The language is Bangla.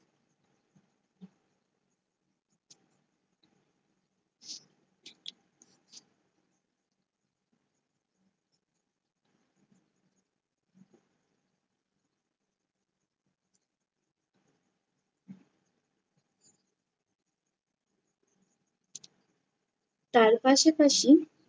তার পাশাপাশি